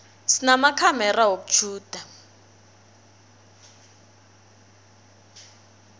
sinamakhamera wokutjhuda